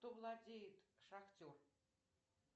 кто владеет шахтер